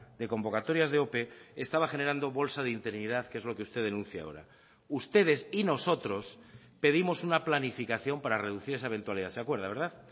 de convocatorias de ope estaba generando bolsa de interinidad que es lo que usted denuncia ahora ustedes y nosotros pedimos una planificación para reducir esa eventualidad se acuerda verdad